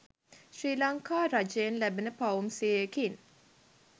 ශ්‍රී ලංකා රජයෙන් ලැබෙන පවුම් සියයකින්